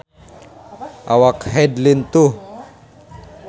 Awak Hyde lintuh